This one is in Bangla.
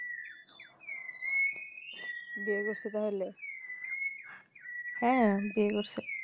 বিয়ে করছে তাহলে হ্যা বিয়ে করছে